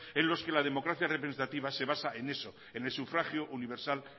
en los que la democracia representativa se basa en eso en el sufragio universal